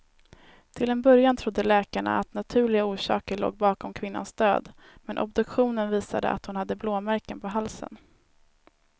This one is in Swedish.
Till en början trodde läkarna att naturliga orsaker låg bakom kvinnans död, men obduktionen visade att hon hade blåmärken på halsen.